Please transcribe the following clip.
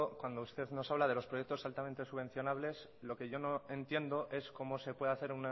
cuando usted nos habla de los proyectos altamente subvencionables lo que yo no entiendo es cómo se puede hacer